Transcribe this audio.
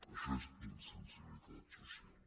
això és insensibilitat social